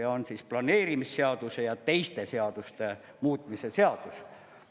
Ja on planeerimisseaduse ja teiste seaduste muutmise seadus.